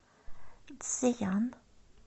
цзеян